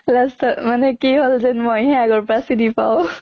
last ত মানে কি হʼল যেন মইহে আগৰ পৰা চিনি পাওঁ